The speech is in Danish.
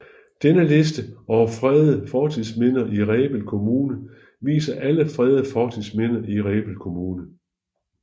Denne liste over fredede fortidsminder i Rebild Kommune viser alle fredede fortidsminder i Rebild Kommune